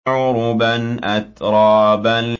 عُرُبًا أَتْرَابًا